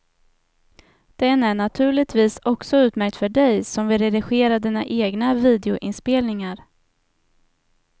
Den är naturligtvis också utmärkt för dig som vill redigera dina egna videoinspelningar.